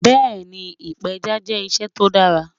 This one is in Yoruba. Bẹ́ẹni, ìpẹja jẹ́ iṣẹ́ tó dàrà